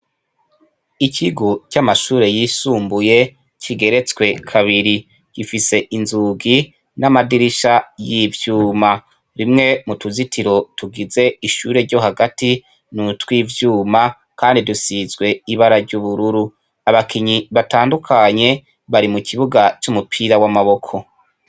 Ikigu cy'amashure yisumbuye kigeretswe kabiri gifise inzugi n'amadirisha y'ivyuma rimwe mu tuzitiro tugize ishure ryo hagati ni utwivyuma, kandi dusizwe ibara ry'ubururu abakinyi batandukanye bari mu kibuga c'umue mupira w'amaboko.